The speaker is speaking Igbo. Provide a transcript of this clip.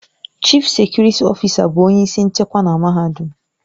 Chịf sekurịtị ọfịsa bụ onye isi nchekwa na mahadum.